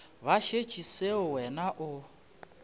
ba šetše seo wena o